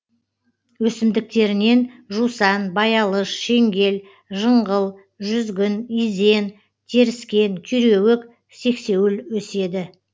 өсімдіктерінен жусан баялыш шеңгел жыңғыл жүзгін изен теріскен күйреуік сексеуіл өседі